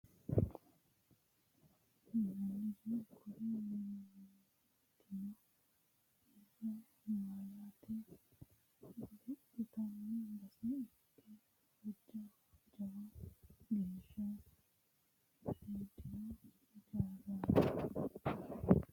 tini shiimicco amma'note basicho ikitanna tene amma'no harunsitannori isilaama yinanniri kuri mi'nitino insa marte guluphitanno bass ikke hojja jawa geesha seedino ijaaraati.